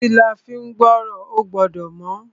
Etí la fín gbọ́ràn. Ó gbọ́dọ̀ mọ́.